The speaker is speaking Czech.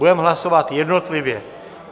Budeme hlasovat jednotlivě.